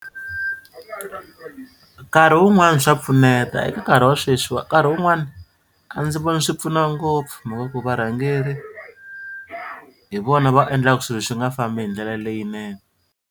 Nkarhi wun'wani swa pfuneta eka nkarhi wa sweswiwa nkarhi wun'wani a ndzi voni swi pfuna ngopfu mhaka ku varhangeri hi vona va endlaka swilo swi nga fambi hi ndlela leyinene.